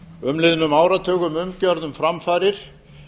umliðnum áratugum umgjörð um framfarir